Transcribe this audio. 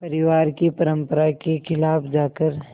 परिवार की परंपरा के ख़िलाफ़ जाकर